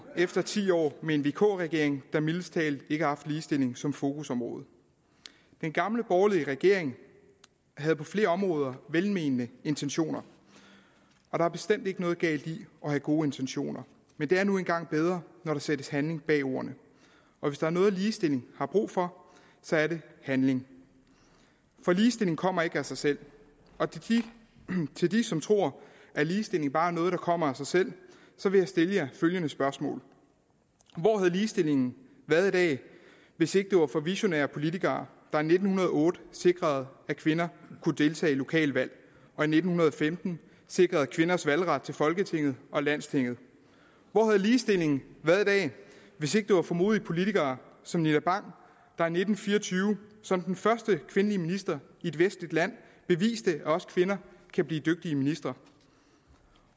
efter ti år med en vk regering der mildest talt ikke har haft ligestilling som fokusområde den gamle borgerlige regering havde på flere områder velmenende intentioner og der er bestemt ikke noget galt i at have gode intentioner men det er nu engang bedre når der sættes handling bag ordene og hvis der er noget ligestilling har brug for så er det handling for ligestilling kommer ikke af sig selv til dem som tror at ligestilling bare er noget der kommer af sig selv vil jeg stille følgende spørgsmål hvor havde ligestillingen været i dag hvis ikke det var for visionære politikere der i nitten hundrede og otte sikrede at kvinder kunne deltage i lokale valg og i nitten femten sikrede kvinders valgret til folketinget og landstinget hvor havde ligestillingen været i dag hvis ikke det var for modige politikere som nina bang der i nitten fire og tyve som den første kvindelige minister i et vestligt land beviste at også kvinder kan blive dygtige ministre